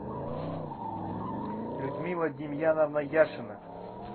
людмила демьяновна яшина